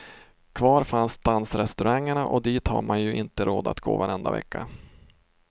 Kvar fanns dansrestaurangerna och dit har man ju inte råd att gå varenda vecka.